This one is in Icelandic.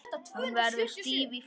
Hún verður stíf í framan.